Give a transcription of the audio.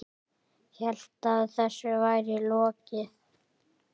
Hélt að þessu væri lokið.